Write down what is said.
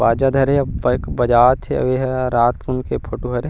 बाजा धरे हे अऊ बजात हे अब एद रात कुन के फोटो हरे।